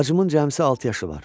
Bacımın cəmsi altı yaşı var.